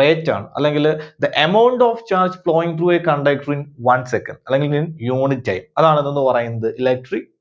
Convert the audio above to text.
rate ആണ്. അല്ലെങ്കില് the amount of charge flowing through a conductor in one second അതല്ലെങ്കിൽ unit time. അതാണ് എന്താന്നുപറയുന്നത് electric